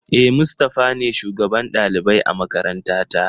E, Mustafa ne shugaban ɗalibai a makarantata.